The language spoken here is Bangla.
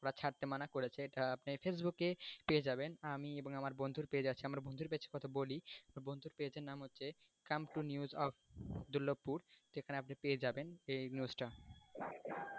ছাড়তে মানা করেছে এটা আপনি facebook এ পেয়ে যাবেন আমি এবং আমার বন্ধুর page আছে আমার বন্ধুর page এর কথা আমি বলি বন্ধুর page এর নাম হচ্ছে come to news of Durlabhpur সেখানে আপনি পেয়ে যাবেন এই news টা।